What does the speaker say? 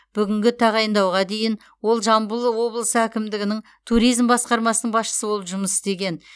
бүгінгі тағайындауға дейін ол жамбыл облысы әкімдігінің туризм басқармасының басшысы болып жұмыс істеген